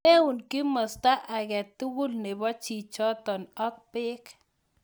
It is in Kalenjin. Meun kimosta age tugul nebo chichitok ak bek.